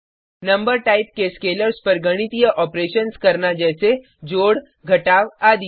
number type के scalars पर गणितीय ऑपरेशन्स करना जैसे जोड़ घटाव आदि